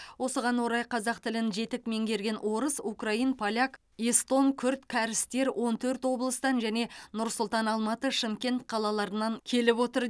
осыған орай қазақ тілін жетік меңгерген орыс украин поляк эстон күрд кәрістер он төрт облыстан және нұр сұлтан алматы шымкент қалаларынан келіп отыр